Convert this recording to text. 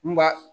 N ba